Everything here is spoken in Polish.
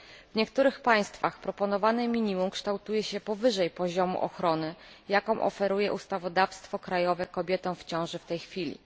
W niektórych państwach proponowane minimum kształtuje się powyżej poziomu ochrony, jaką oferuje ustawodawstwo krajowe kobietom w ciąży w tej chwili.